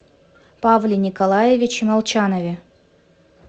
павле николаевиче молчанове